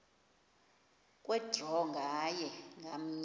kwe draw nganye